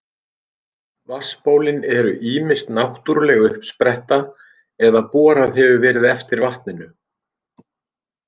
Vatnsbólin eru ýmist náttúruleg uppspretta eða borað hefur verið eftir vatninu.